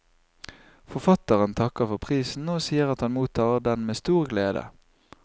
Forfatteren takker for prisen og sier at han mottar den med stor glede.